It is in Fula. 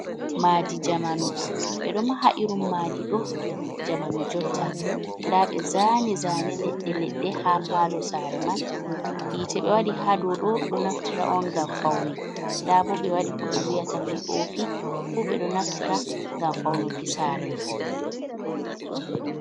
Madi jamanu ɓeɗo maha irun madi ɗo jamanu jotta, nda ɓe zaani zane leɗɗe-leɗɗe ha palo sare man, yite ɓe waɗi ha doɗo ɗo naftira on ngam faune, nda bo ɓe wadi ko ɓe wiyata pop fuu ɓeɗo naftira ngam faunu ki sare man.